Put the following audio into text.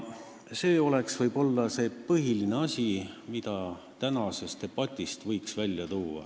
See on võib-olla see põhiline asi, mida tänasest debatist võiks välja tuua.